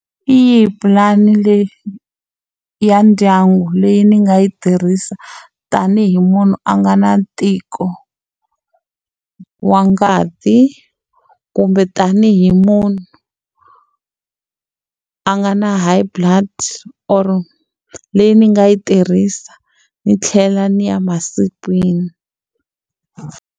Hi yi pulani leyi ya ndyangu leyi ni nga yi tirhisa tanihi munhu a nga na ntiko wa ngati kumbe tanihi munhu a nga na high blood or leyi ni nga yi tirhisa ni tlhela ni ya masikwini.